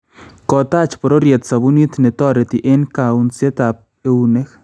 Kotaach bororyet sabunit netoreti eng kaunseetaab ewuneek